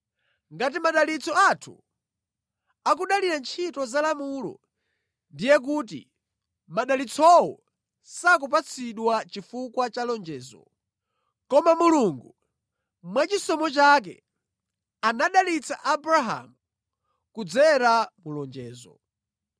Ngati madalitso athu akudalira ntchito za lamulo ndiye kuti madalitsowo sakupatsidwa chifukwa cha lonjezo. Koma Mulungu mwachisomo chake anadalitsa Abrahamu kudzera mu lonjezo.